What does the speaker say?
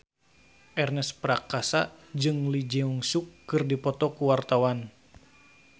Ernest Prakasa jeung Lee Jeong Suk keur dipoto ku wartawan